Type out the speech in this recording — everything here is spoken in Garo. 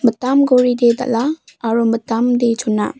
mitam goride dal·a aro mitamde chona.